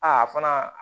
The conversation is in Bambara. Aa fana